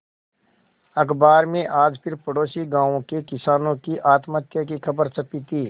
अखबार में आज फिर पड़ोसी गांवों के किसानों की आत्महत्या की खबर छपी थी